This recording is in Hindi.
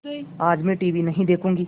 आज मैं टीवी नहीं देखूँगी